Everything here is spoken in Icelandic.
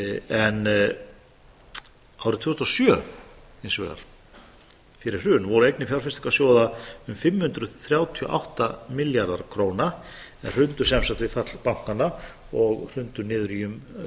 en árið tvö þúsund og sjö hins vegar fyrir hrun voru eignir fjárfestingarsjóða um fimm hundruð þrjátíu og átta milljarðar króna en hrundu sem sagt við fall bankanna og hrundu niður í um